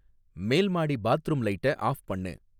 மேல்மாடி bathroom லைட்ட off பண்ணு